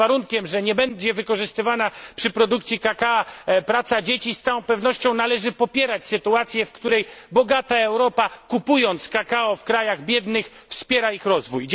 Pod warunkiem że nie będzie wykorzystywana przy produkcji kakao praca dzieci, z całą pewnością należy popierać sytuację, w której bogata Europa, kupując kakao w krajach biednych, wspiera ich rozwój.